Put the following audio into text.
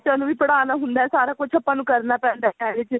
ਬੱਚਿਆ ਨੂੰ ਵੀ ਪੜ੍ਹਾਣਾ ਹੁੰਦਾ ਹੈ ਸਾਰਾ ਕੁੱਝ ਆਪਾਂ ਨੂੰ ਕਰਨਾ ਪੈਂਦਾ ਇਹਦੇ ਚ